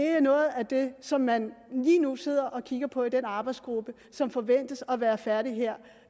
er noget af det som man lige nu sidder og kigger på i den arbejdsgruppe som forventes at være færdig her